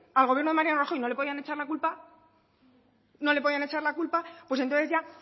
al gobierno de mariano rajoy no le podían echar la culpa no le podían echar la culpa pues entonces ya